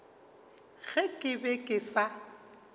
ge ke be ke sa